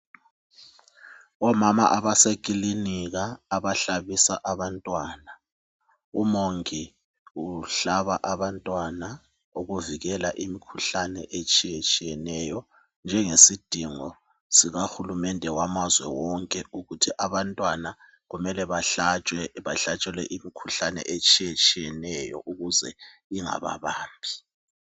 Omama abaseklinika abahlabisa abantwana umongi uhlaba abantwana ukuvikela imikhuhlane etshiyeneyo njengesidingo sika hulumende wamazwe wonke ukuthi abantwana kumele bahlatshwe bahlatshelwe imikhuhlane etshiyeneyo ukuze ingababambi